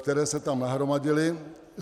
které se tam nahromadily.